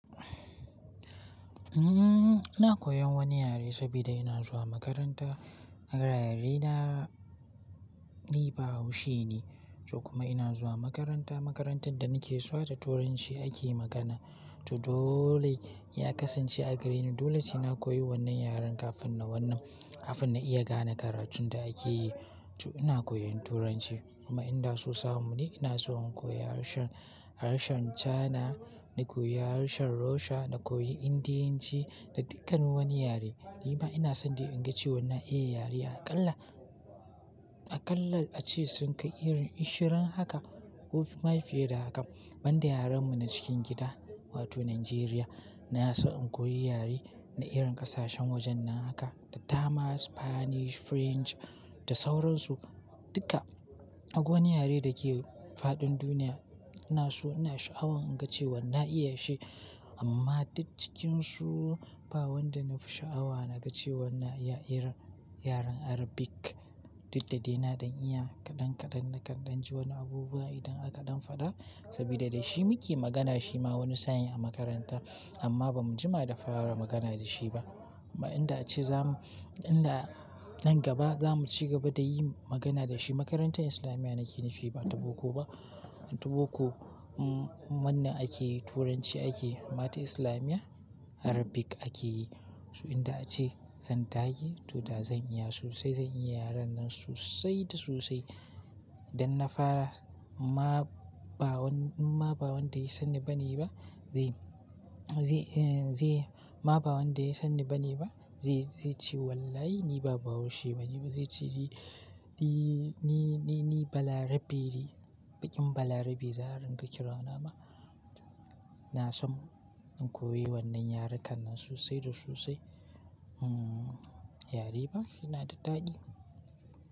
Umm, ina koyan wani yare saboda ina zuwa makaranta. A garin ina ni bahaushe ne, ko kuma ina zuwa makaranta. Makarantar da nake zuwa da Turanci ake magana. To dole ya kasance a gareni. Dole sai na koyi wannan yaren kafin na wannan, kafin na iya gane karatun da ake yi. To ina koyon Turanci kuma inda sosai mu ne ina so in koyi harshen, harshen Cana, na koyi harshen Russia, na koyi Indiyanci da dukkan wani yare. Ni ma ina son dai in ga cewa na iya yare aƙalla, aƙalla ace sun kai irin ashirin haka ko fiye da haka. Banda yaren mu na cikin gida wato Najeriya, na so in koyi yare na irin ƙasashen wajen nan haka, da Tama, Spanish, French da sauransu duka. Akwai wani yare da ke fadin duniya ina so ina sha'awa in ga cewa na iya shi amma duk cikinsu ba wanda na fi sha'awa na ga cewa na iya irin yaren Arabic duk da dai na don iya kaɗan kaɗan na kaɗan ji wani abubuwa idan akaɗan faɗa saboda da shi muke magana shi ma wani saniya a makaranta amma ba mu jima da fara magana da shi ba. Ma inda ace zamu, inda nan gaba za mu ci gaba da yin magana da shi. Makarantar islamiyya nake nashi ba ta boko ba. Ta boko, wannan ake yi Turanci ake yi mata islamiyya Arabic ake yi. So inda ace zan dage to da zan iya sosai zan yi yaren nan sosai da sosai don na fara ma, ba wanda, ma ba wanda ya san ni ba ne ba zai, zai, eh zai ma ba wanda ya san ni ba ne ba zai, zai ce wallahi ni ba bahaushe ba ne ba zai ce di, di ni, ni, ni bala rabe ne, baƙin bala rabe za aringa kira na ma. Na so in koyi wannan yare kan nan sosai da sosai. Yare ba yana da daɗi.